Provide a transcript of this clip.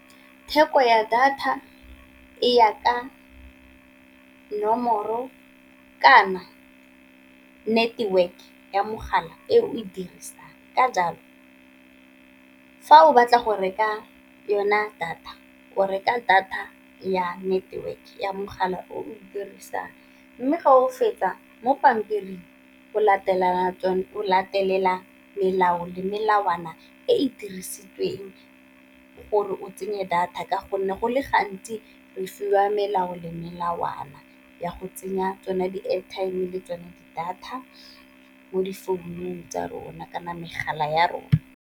Theko ya data e ya ka nomoro kana network ya mogala e o e dirisang, ka jalo fa o batla go reka yona data o reka data ya network ya mogala o dirisang. Mme fa o fetsa mo pampiring o latelela melao le melawana e e dirisitsweng gore o tsenye data ka gonne go le gantsi re fiwa melao le melawana ya go tsenya tsone di airtime le tsone di data, mo difounung tsa rona kana megala ya rona.